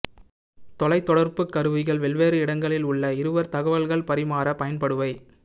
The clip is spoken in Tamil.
தொலைத் தொடர்புக் கருவிகள் வெவ்வேறு இடங்களில் உள்ள இருவர் தகவல்கள் பரிமாற பயன்படுபவை